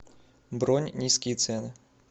бронь низкие цены